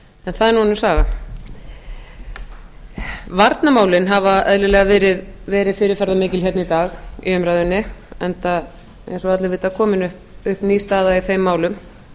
en það er nú önnur saga varnarmálin hafa eðlilega verið fyrirferðarmikil hér í dag í umræðunni enda eins og allir vita komin upp ný staða í þeim málum